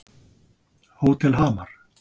Hótel Hamar